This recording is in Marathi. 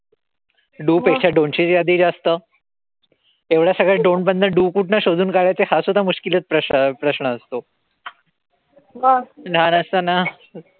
Do पेक्षा don't ची यादी जास्त. एवढ्या सगळ्या don't मधनं do कुठनं शोधन काढायचे हा सुद्धा च प्रश्न असतो. लहान असताना,